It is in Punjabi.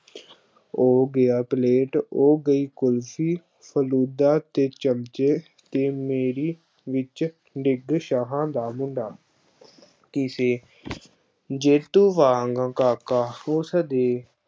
ਔਹ ਗਿਆ ਪਲੇਟ, ਔਹ ਗਈ ਕੁਲਫ਼ੀ, ਫ਼ਲੂਦਾ ਤੇ ਚਮਚੇ ਤੇ ਮੇਰੀ ਵਿੱਚ ਡਿੱਗ ਸ਼ਾਹਾਂ ਦਾ ਮੁੰਡਾ ਕਿਸੇ ਜੇਤੂ ਵਾਂਗ ਕਾਕਾ ਉਸ ਦੇ